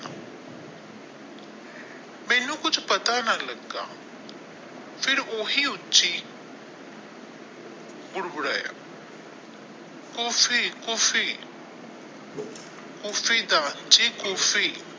ਮੈਨੂੰ ਕੁਝ ਪਤਾ ਨਾ ਲੱਗਾ ਫੇਰ ਉਹ ਹੀ ਉੱਚੀ ਕੋਫੀ ਕੋਫੀ ਕੋਫੀ ਦਾਰ ਜੀ ਕੋਫੀ ।